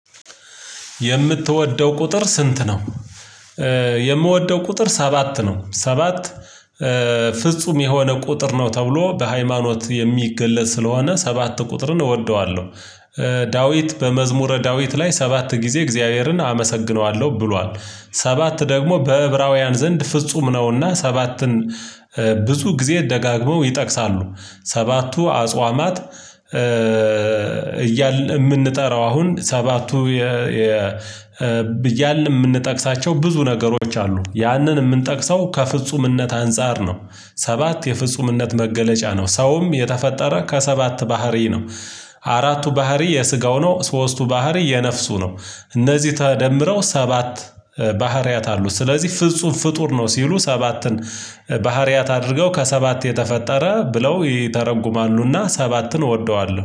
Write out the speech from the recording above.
የምትወደው ቁጥር ስንት ነው? የምወደው ቁጥር ሰባት ነው ሰባት ፍጹም የሆነ ቁጥር ነው ተብሎ በሃይማኖት የሚገለጽ ስለሆነ ሰባት ቁጥርን እወደዋለሁ። ዳዊት በመዝሙረ ዳዊት ላይ ሰባት ጊዜ እግዚአብሔርን አመሰግነዋለሁ ብሏል። ሰባት ደግሞ በዕብራውያን ዘንድ ፍጹም ነውና ሰባትን ብዙ ጊዜ ደጋግመው ይጠቅሳሉ። ሰባቱ አጽዋማት እያልን የምንጠራው አሁን ሰባቱ የ እያልን የምንጠቅሳቸው ብዙ ነገሮች አሉ ያንን የምንጠቅሰው ከፍጹምነት አንፃር ነው። ሰባት የፍፁምነት መገለጫ ነው። ሰውም የተፈጠረ ከሰባት ባህሪ ነው። አራቱ ባህሪ የስጋው ነው ሶስቱ ባህሪ የነፍሱ ነው። እነዚህ ተደምረው ሰባት ባህሪያት አሉ። ስለዚህ ፍጹም ፍጡር ነው ሲሉ ሰባትን ባህሪያት አድርገው ከሰባት የተፈጠረ ብለው ይተረጉማሉና ሰባትን እወደዋለሁ